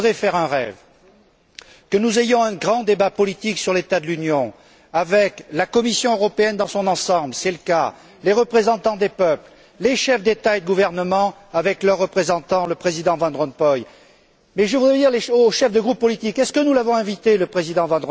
Je voudrais faire un rêve que nous ayons un grand débat politique sur l'état de l'Union, avec la Commission européenne dans son ensemble c'est le cas les représentants des peuples, les chefs d'État et de gouvernement avec leurs représentants, et le Président van Rompuy. Mais je voudrais dire aux chefs de groupes politiques Avons nous invité M.